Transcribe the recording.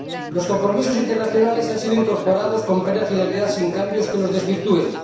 Los compromisos internacionales han sido incorporados con plena fidelidad, sin cambios que los desvirtúen.